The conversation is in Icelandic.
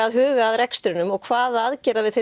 að hugsa að rekstrinum og hvaða aðgerða við